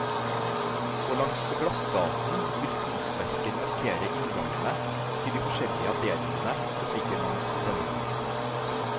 Og langs glassgaten vil kunstverker markere inngangene til de forskjellige avdelingene som ligger langs denne.